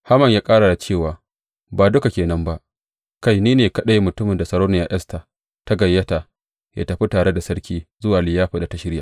Haman ya ƙara da cewa, Ba duka ke nan ba, kai, ni ne kaɗai mutumin da Sarauniya Esta ta gayyata yă tafi tare da sarki zuwa liyafar da ta shirya.